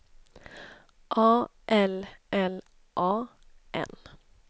A L L A N